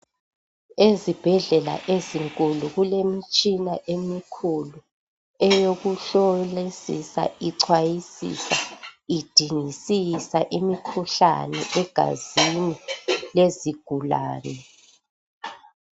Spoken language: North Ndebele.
Ezibhedlela ezinkulu kulemitshina emikhulu eyokuhlolisisa, ichwayisisa, idingisisa imikhuhlane egazini lezigulane.